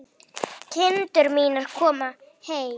Kindur mínar komnar heim.